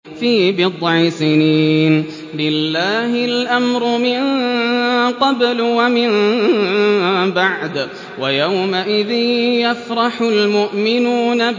فِي بِضْعِ سِنِينَ ۗ لِلَّهِ الْأَمْرُ مِن قَبْلُ وَمِن بَعْدُ ۚ وَيَوْمَئِذٍ يَفْرَحُ الْمُؤْمِنُونَ